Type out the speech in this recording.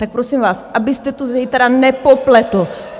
Tak prosím vás, abyste to zítra nepopletl.